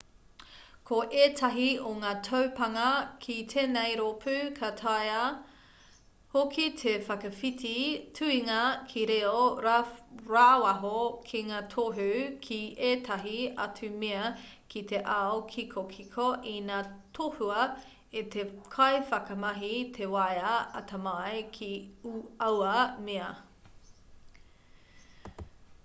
ko ētahi o ngā taupānga ki tēnei rōpū ka taea hoki te whakawhiti tuhinga ki reo rāwaho ki ngā tohu ki ētahi atu mea ki te ao kikokiko ina tohua e te kaiwhakamahi te waea atamai ki aua mea